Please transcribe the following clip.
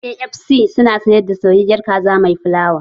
KFC su na sayar da soyayyar kaza mai fulawa